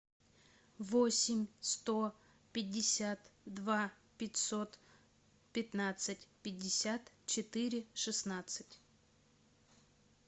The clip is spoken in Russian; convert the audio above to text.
восемь сто пятьдесят два пятьсот пятнадцать пятьдесят четыре шестнадцать